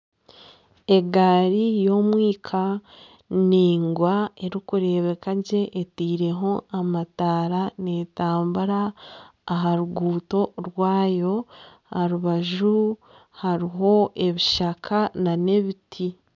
Egaari y'omwika naingwa erikureebeka gye eteireho amataara netambura aha ruguuto rwayo. Aha rubaju hariho ebishaka nana ebiti.